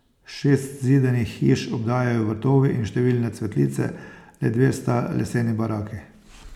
Šest zidanih hiš obdajajo vrtovi in številne cvetlice, le dve sta leseni baraki.